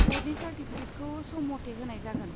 ब'र्डनि चार्टिफिकेटखौ सम मथै होनाय जागोन।